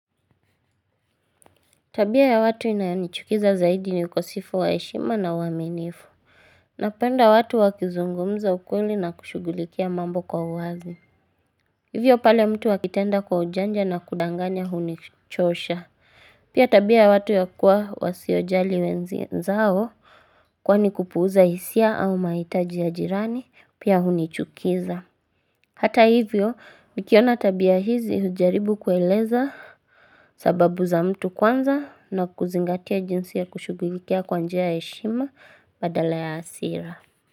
Tabia ya watu inayoni chukiza zaidi ni ukosefu waeshima na uaminifu Napenda watu wakizungumza ukweli na kushugulikia mambo kwa uazi Hivyo pale mtu akitenda kwa ujanja na kudanganya hunichosha Pia tabia ya watu ya kuwa wasiojali we nzao Kwani kupuuza hisia au maitaji ya jirani Pia hunichukiza Hata hivyo nikiona tabia hizi hujaribu kueleza sababu za mtu kwanza na kuzingatia jinsi ya kushughulikia kwanjia ya heshima badala ya hasira.